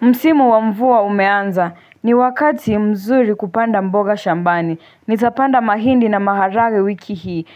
Msimu wa mvua umeanza. Ni wakati mzuri kupanda mboga shambani. Nitapanda mahindi na maharagwe wiki hii.